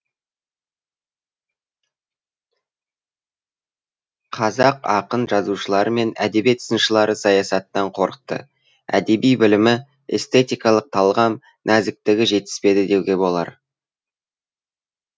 қазақ ақын жазушылары мен әдебиет сыншылары саясаттан қорықты әдеби білімі эстетикалық талғам нәзіктігі жетіспеді деуге болар